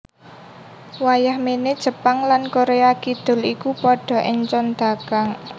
Wayah méné Jepang lan Koréa Kidul iku padha éncon dagang